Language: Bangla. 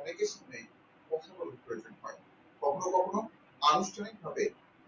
অনেকে শুনে কথা বলার প্রয়োজন হয় কখনো কখনো আনুষ্ঠানিক ভাবে